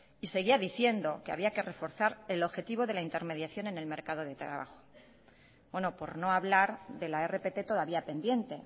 y seguía diciendo que había que reforzar el objetivo de la intermediación en el mercado de trabajo por no hablar de la rpt todavía pendiente